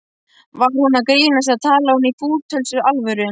Var hún að grínast, eða talaði hún í fúlustu alvöru?